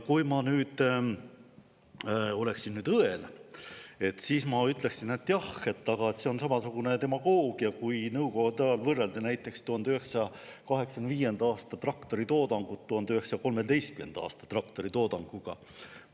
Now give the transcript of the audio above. Kui ma nüüd oleksin õel, siis ma ütleksin, et jah, aga see on samasugune demagoogia, kui Nõukogude ajal võrreldi näiteks 1985. aasta traktoritoodangut 1913. aasta traktoritoodanguga.